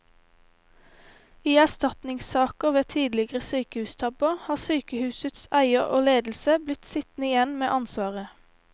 I erstatningssaker ved tidligere sykehustabber har sykehusets eier og ledelse blitt sittende igjen med ansvaret.